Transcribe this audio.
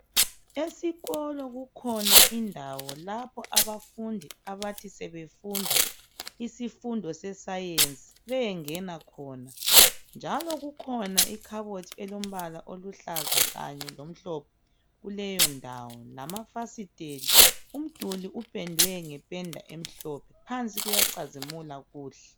Esikolo kukhona indawo lapho abafundi abathi sebefunda isifundo se Science beyengena khona njalo kukhona ikhabothi elombala oluhlaza kanye lomhlophe kuleyondawo lamafasisteli. Umduli upendwe ngependa emhlophe phansi kuyacazimula kuhle